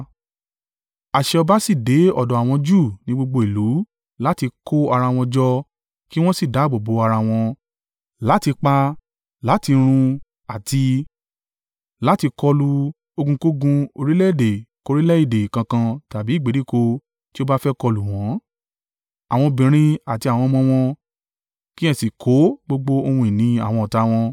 Àṣẹ ọba sì dé ọ̀dọ̀ àwọn Júù ní gbogbo ìlú láti kó ara wọn jọ kí wọn sì dáàbò bo ara wọn; láti pa, láti run àti láti kọlu ogunkógun orílẹ̀-èdè kórílẹ̀ èdè kankan tàbí ìgbèríko tí ó bá fẹ́ kọlù wọ́n, àwọn obìnrin àti àwọn ọmọ wọn; kí ẹ sì kó gbogbo ohun ìní àwọn ọ̀tá wọn.